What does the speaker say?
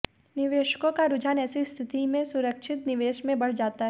निवेशकों का रुझान ऐसी स्थिति में सुरक्षित निवेश में बढ़ जाता है